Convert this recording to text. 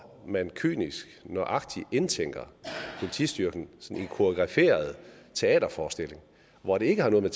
man kynisk og nøjagtigt indtænker politistyrken i en koreograferet teaterforestilling hvor det ikke har noget at